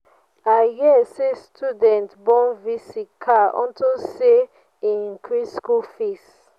i hear say students burn v.c. car unto say he increase school fees.